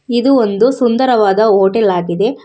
ಇದು ಒಂದು ಸುಂದರವಾದ ಹೋಟೆಲ್ ಆಗಿದೆ.